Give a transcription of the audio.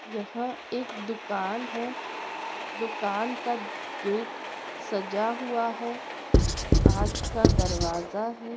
यहा एक दुकान है दुकान का गते सज्ज हुआ है कच का दरवाजा है।